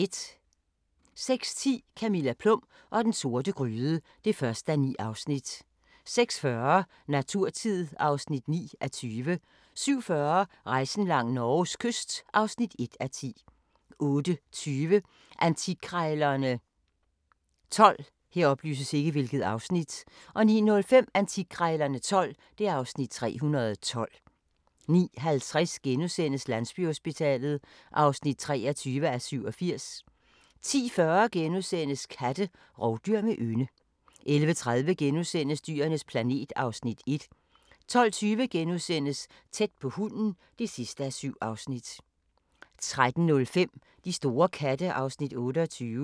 06:10: Camilla Plum og den sorte gryde (1:9) 06:40: Naturtid (9:20) 07:40: Rejsen langs Norges kyst (1:10) 08:20: Antikkrejlerne XII 09:05: Antikkrejlerne XII (Afs. 312) 09:50: Landsbyhospitalet (23:87)* 10:40: Katte – rovdyr med ynde * 11:30: Dyrenes planet (Afs. 1)* 12:20: Tæt på hunden (7:7)* 13:05: De store katte (Afs. 28)